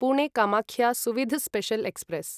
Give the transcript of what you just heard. Pune Kamakhya Suvidha special express